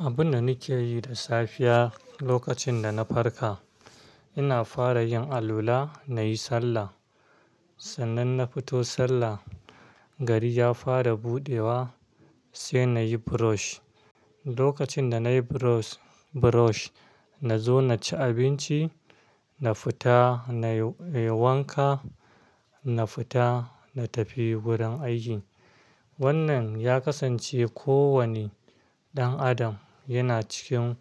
Abin da nake yi da safiya lokacin da na farka, ina fara yin alola, na yi sallah. Sannan na fito sallah, gari ya fara buɗewa sai na yi brush. Lokacin da na yi brush, na zo na ci abinci, na fita na yi wanka, na fita na tafi gurin aiki. Wannan ya kasance kowane ɗan adam yana cikin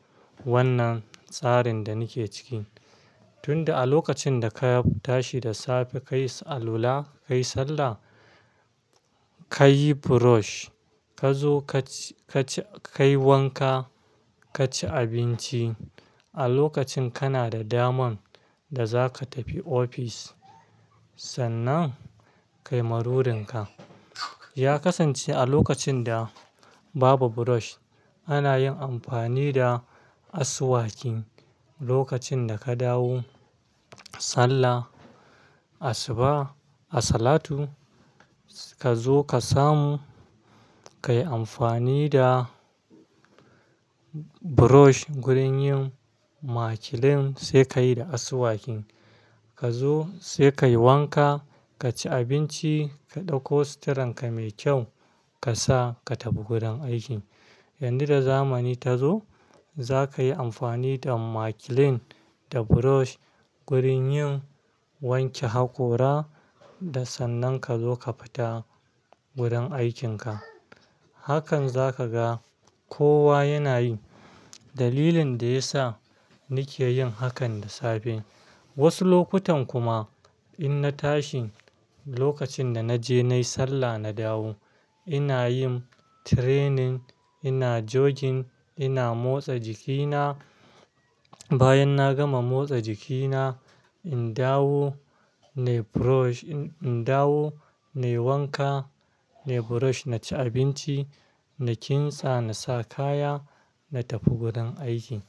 wannan tsarin da nake ciki. Tunda a lokacin da ka tashi da safe ka yi alola, ka yi sallah, ka yi brush, ka zo ka yi wanka, ka ci abinci. A lokacin kana da daman da za ka tafi ofis. Sannan ka yi marurinka. Ya kasance a lokacin da babu brush ana yin amfani da asuwakin. Lokacin da ka dawo sallah, asuba, asalatu ka zo ka samu, ka yi amfani da brush gurin yin makilin sai ka yi da asuwakin. Ka zo sai ka yi wanka, ka ci abinci, ka ɗauko suturanka mai kyau ka sa ka tafi gurin aiki. Yanzu da zamani ta zo, za ka yi amfani da makilin da brush gurin yin wanke hakora da sannan ka zo ka fita gurin aikinka. Hakan zaka ga kowa yana yi. Dalilin da ya sa nake yin hakan da safe, wasu lokutan kuma in na tashi lokacin da na je na yi sallah na dawo, ina yin training, ina jogging, ina motsa jikina. Bayan na gama motsa jikina, in dawo na yi brush, in dawo na yi wanka, na yi brush, na ci abinci, na kintsa, na sa kaya, na tafi gurin aiki.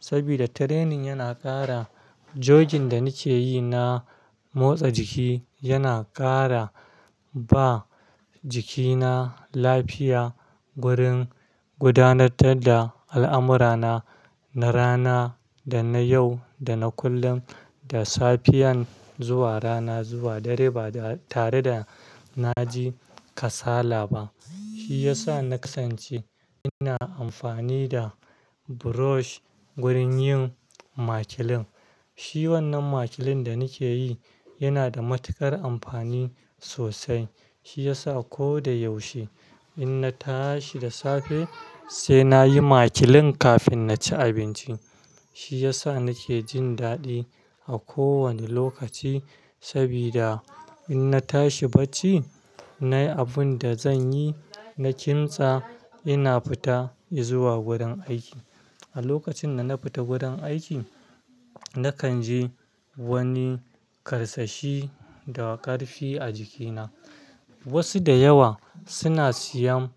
Saboda training yana ƙara jogging da nake yi na motsa jiki, yana ƙara ba jikina lafiya gurin gudanar da al'amurana na rana da na yau da na kullum, da safiyan zuwa rana zuwa dare ba tare da na ji kasala ba. Shi ya sa na kasance ina amfani da brush gurin yin makilin. Shi wannan makilin da nake yi yana da matuƙar amfani sosai. Shi ya sa ko da yaushe ina tashi da safe sai na yi makilin kafin na ci abinci. Shi ya sa nake jin daɗi a kowane lokaci. Saboda in na tashi bacci, na yi abun da zan yi, na kintsa ina fita in zuwa gurin aiki. A lokacin da na fita gurin aiki nakan ji wani karsashi da ƙarfi a jikina. Wasu da yawa suna siyan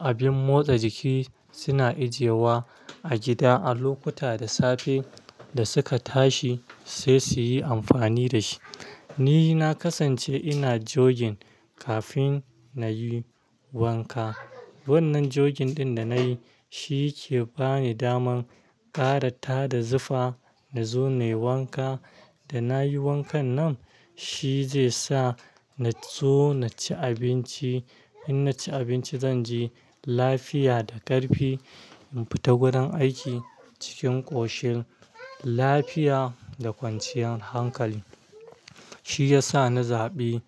abin motsa jiki suna ajiyewa a gida a lokuta da safe da suka tashi sai su yi amfani da shi. Ni na kasance ina jogging kafin na yi wanka. Wannan jogging ɗin da na yi shi ke ba ni daman ƙara ta da zufa na zo na yi wanka. Da na yi wankan nan shi zai sa na zo na ci abinci. In na ci abinci zan ji lafiya da ƙarfi in fita gurin aiki cikin ƙoshin lafiya da kwanciyar hankali. Shi ya sa na zaɓi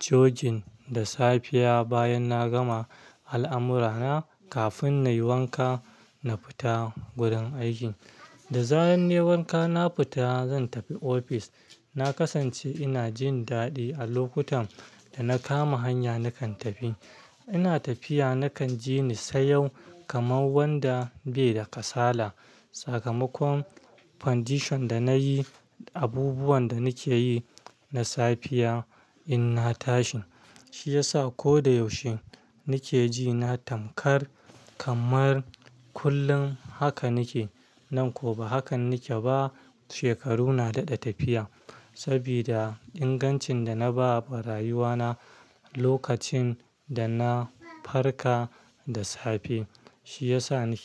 jogging da safiya bayan na gama al'amurana kafin na yi wanka na fita gurin aiki. Da zaran nayi wanka na fita zan tafi ofis. Na kasance ina jin daɗi a lokutan da na kama hanya nakan tafi. Ina tafiya nakan ji ni sayyau kamar wanda bai da kasala. Sakamakon foundation da na yi, abubuwan da nake yi na safiya in na tashi shi ya sa ko da yaushe nake ji na tamkar kamar kullum haka nake. Nan ko ba haka nake ba shekaru na daɗa tafiya. Saboda ingancin da na ba ba rayuwa na lokacin da na farka da safe shi ya sa nake.